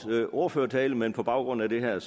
ordførertale men på baggrund af det her